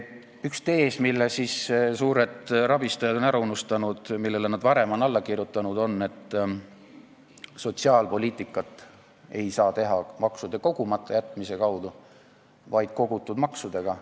Üks tees, mille suured rabistajad on ära unustanud, kuigi nad on varem sellele alla kirjutanud, on see, et sotsiaalpoliitikat ei saa teha maksude kogumata jätmise kaudu, vaid kogutud maksudega.